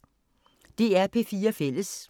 DR P4 Fælles